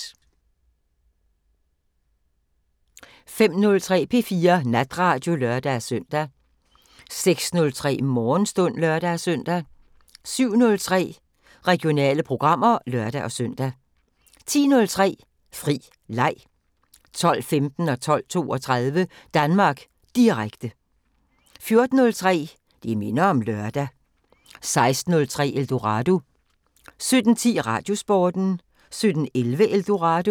05:03: P4 Natradio (lør-søn) 06:03: Morgenstund (lør-søn) 07:03: Regionale programmer (lør-søn) 10:03: Fri leg 12:15: Danmark Direkte 12:32: Danmark Direkte 14:03: Det minder om lørdag 16:03: Eldorado 17:10: Radiosporten 17:11: Eldorado